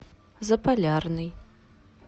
заполярный